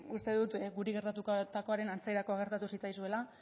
uste dut guri gertatutakoaren antzeko gertatu zitzaizuela